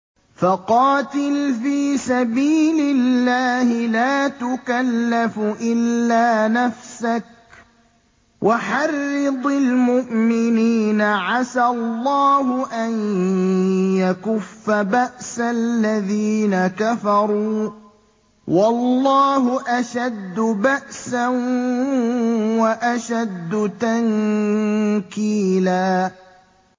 فَقَاتِلْ فِي سَبِيلِ اللَّهِ لَا تُكَلَّفُ إِلَّا نَفْسَكَ ۚ وَحَرِّضِ الْمُؤْمِنِينَ ۖ عَسَى اللَّهُ أَن يَكُفَّ بَأْسَ الَّذِينَ كَفَرُوا ۚ وَاللَّهُ أَشَدُّ بَأْسًا وَأَشَدُّ تَنكِيلًا